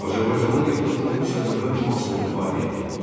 Azərbaycanlı deputatın Rusiya Dövlət Dumasında fəaliyyəti.